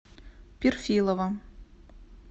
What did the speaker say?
перфилова